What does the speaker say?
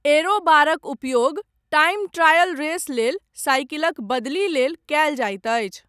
Aero बारक उपयोग, time trial race लेल, साइकिलक बदली लेल कयल जाइत अछि।